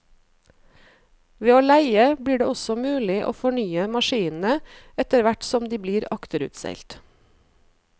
Ved å leie blir det også mulig å fornye maskinene etterhvert som de blir akterutseilt.